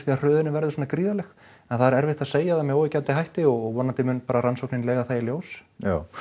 að hröðunin verður svona gríðarleg það er erfitt að segja það með óyggjandi hætti og vonandi mun bara rannsóknin leiða það í ljós já